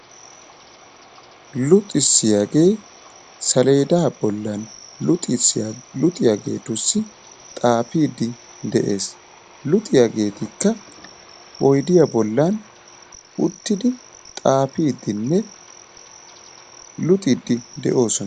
Luxissiyaagee saleedaa bollan luxissiya luxiyaageetussi xaafiiddi de'ees. Luxiyageetikka oydiya bollan uttidi xaafiiddinne luxiiddi de'oosona.